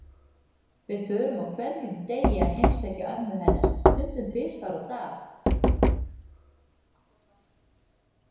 Við förum á hverjum degi að heimsækja mömmu hennar, stundum tvisvar á dag.